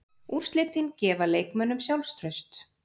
Úrslitin gefa leikmönnunum sjálfstraust.